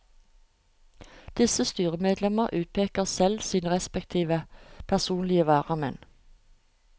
Disse styremedlemmer utpeker selv sine respektive personlige varamenn.